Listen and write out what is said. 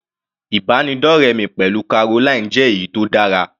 Ìbánidọ́rẹ mi pẹ̀lú Caroline jẹ́ èyí tó dára.